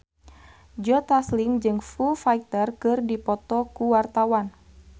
Joe Taslim jeung Foo Fighter keur dipoto ku wartawan